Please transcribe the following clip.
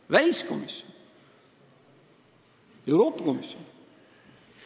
Kas väliskomisjon või Euroopa komisjon?